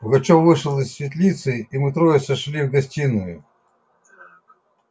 пугачёв вышел из светлицы и мы трое сошли в гостиную